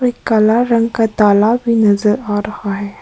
काला रंग का ताला भी नजर आ रहा है।